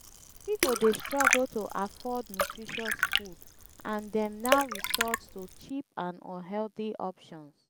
people dey struggle to afford nutritious food and dem now resort to cheap and unhealthy options.